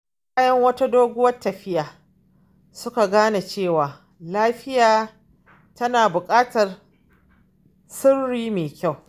Bayan wata doguwar tafiya, suka gane cewa tafiya tana buƙatar shiri mai kyau.